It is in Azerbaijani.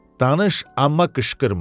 Danış, amma qışqırma.